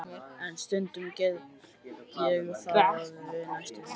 En stundum get ég það næstum því.